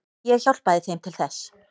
Ég hjálpaði þeim til þess.